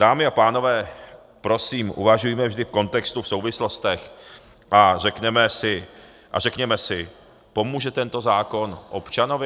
Dámy a pánové, prosím, uvažujme vždy v kontextu, v souvislostech a řekněme si - pomůže tento zákon občanovi?